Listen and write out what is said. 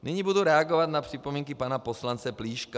Nyní budu reagovat na připomínky pana poslance Plíška.